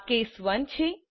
આ કેસ 1 છે